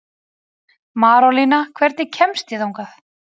Marólína, hvernig kemst ég þangað?